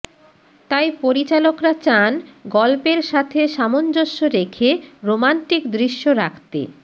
তাই পরিচালকরা চান গল্পের সাথে সামঞ্জস্য রেখে রোমান্টিক দৃশ্য রাখতে